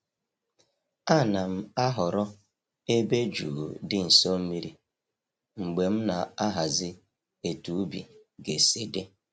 A na'm-ahọrọ ebe jụụ di nso mmiri mgbe m na-ahazi etu ubi ga-esi dị.